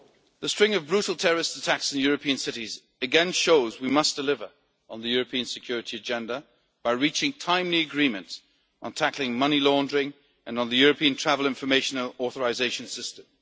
The string of brutal terrorist attacks on European cities again shows that we must deliver on the European security agenda by reaching timely agreement on tackling money laundering and on the European Travel Information and Authorisation System.